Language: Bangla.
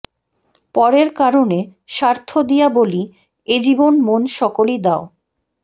পরের কারণে স্বার্থ দিয়া বলি এ জীবন মন সকলি দাও